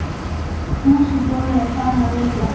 Fúsi bróðir er farinn að- reykja!